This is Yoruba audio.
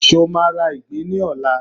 ṣe o ma ra ìgbín ní ọlá